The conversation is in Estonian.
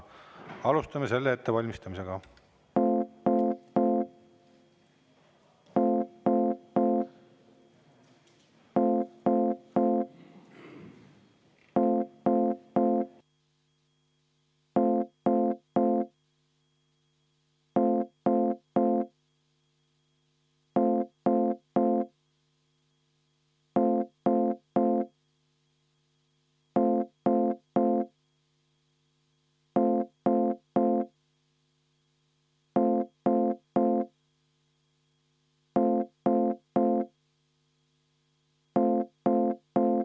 Alustame hääletuse ettevalmistamist.